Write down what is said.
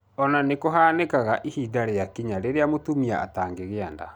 Ona nĩ kũhanĩkaga ihinda rĩakinya rĩrĩa mũtumia atangĩgia nda.